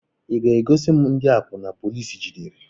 Ị ga-egosi m ndị akwuna polici jidere?